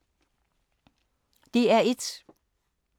DR1